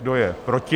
Kdo je proti?